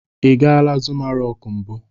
Ị gala Zuma rọk mbụ?